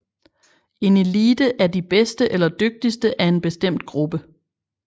En elite er de bedste eller dygtigste af en bestemt gruppe